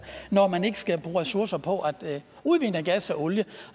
når man ikke skal bruge ressourcer på at udvinde gas og olie